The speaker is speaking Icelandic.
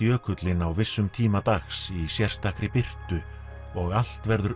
jökullinn á vissum tíma dags í sérstakri birtu og allt verður